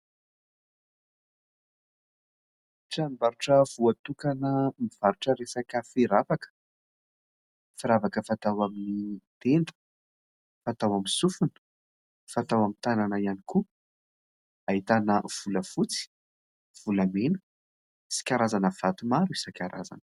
Tranombarotra voatokana mivarotra resaka firavaka. Firavaka fatao amin'ny tenda fatao amin'ny sofina fatao amin'ny tanana ihany koa ahitana volafotsy volamena sy karazana vato maro isan-karazana.